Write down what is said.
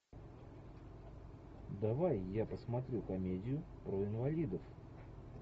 давай я посмотрю комедию про инвалидов